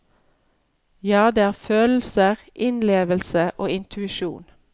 Jo, det er følelser, innlevelse og intuisjon.